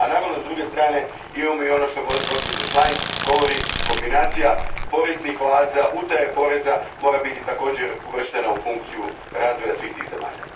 A naravno, s druge strane imamo i ono što gđa Schlein govori kombinacija poreznih oaza i utaje poreza mora biti također uvrštena u funkciju razvoja svih tih zemalja.